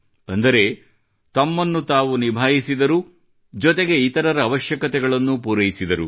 ಅಂದರೆ ತಮ್ಮನ್ನು ತಾವು ನಿಭಾಯಿಸಿದರು ಜೊತೆಗೆ ಇತರರ ಅವಶ್ಯಕತೆಗಳನ್ನೂ ಪೂರೈಸಿದರು